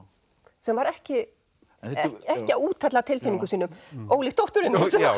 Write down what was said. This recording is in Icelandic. sem var ekki að úthella tilfinningum sínum ólíkt dótturinni